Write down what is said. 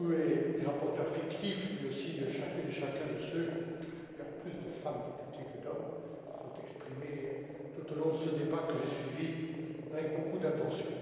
Bodu et les rapporteurs fictifs, mais aussi chacune et chacun de ceux il y a d'ailleurs plus de femmes députés que d'hommes qui se sont exprimés tout au long de ce débat que j'ai suivi avec beaucoup d'attention.